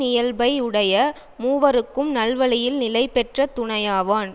இயல்பை உடைய மூவருக்கும் நல்வழியில் நிலை பெற்ற துணையாவான்